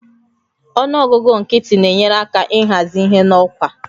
Ọnụ ọgụgụ nkịtị na-enyere aka ịhazi ihe n'ọkwa